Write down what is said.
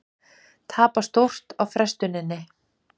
Tapa stórt á frestuninni